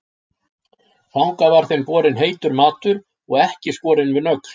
Þangað var þeim borinn heitur matur og ekki skorinn við nögl.